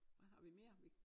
Hvad har vi mere vi